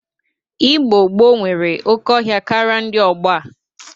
Igbo gboo nwere oke ọhịa karị ndị ọgbọ a.